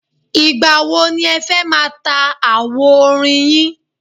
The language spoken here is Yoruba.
Ìgbà wo ni ẹ fẹ́ máa ta àwo orin yín?